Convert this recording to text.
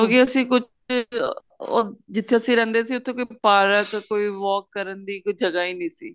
ਕਿਉਂਕਿ ਅਸੀਂ ਕੁੱਝ ਉਹ ਜਿੱਥੇ ਅਸੀਂ ਰਹਿੰਦੇ ਸੀ ਕੋਈ ਪਾਰਕ ਕੋਈ walk ਕਰਨ ਦੀ ਜਗ੍ਹਾ ਈ ਨਹੀਂ ਸੀ